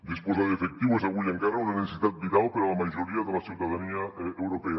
disposar d’efectiu és avui encara una necessitat vital per a la majoria de la ciutadania europea